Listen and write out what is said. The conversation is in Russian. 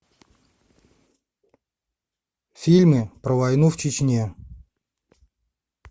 фильмы про войну в чечне